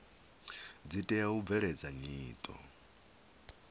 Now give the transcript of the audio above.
dzi tea u bveledza nyito